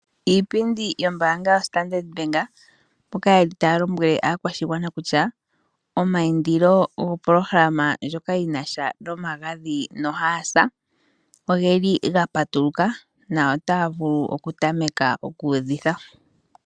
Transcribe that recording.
Iipindi yombaanga yoStandard bank, mboka yeli taya lombwele aakwashigwana kutya omayindilo gopolohalama ndjoka yi nasha nomagadhi nohaasa, ogeli gapatuluka na otaya vulu oku tameka okuudhitha.